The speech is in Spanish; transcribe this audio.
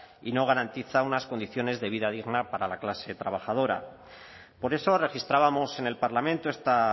y no garantiza unas condiciones de vida dignas para la clase trabajadora por eso registrábamos en el parlamento esta